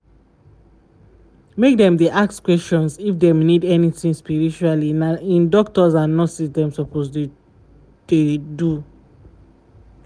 make dem dey ask questions if dem need anything spiritually na im doctors and nurses dem suppose to dey do.